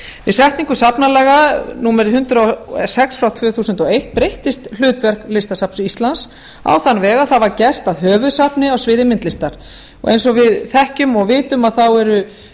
við setningu safnalaga númer hundrað og sex tvö þúsund og eitt breyttist hlutverk listasafns íslands á þann veg að það var gert að höfuðsafni á sviði myndlistar eins og við þekkjum og vitum eru